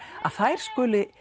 að þær skuli